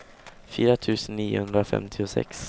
fyra tusen niohundrafemtiosex